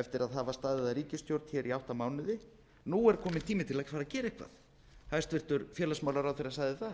eftir að hafa staðið að ríkisstjórn í átta mánuði nú er kominn tími til að fara að gera eitthvað hæstvirts félagsmálaráðherra sagði